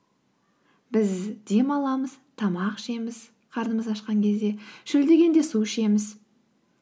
біз дем аламыз тамақ ішеміз қарнымыз ашқан кезде шөлдегенде су ішеміз